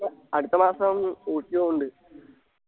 അടുത്ത മാസം ഊട്ടി പോണുണ്ട്